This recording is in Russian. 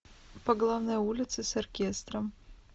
по главной улице с оркестром